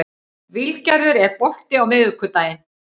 Vilgerður, er bolti á miðvikudaginn?